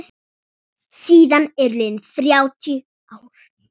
Síðan eru liðin þrjátíu ár.